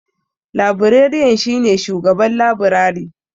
Labireriyan shi ne shugaban labirari.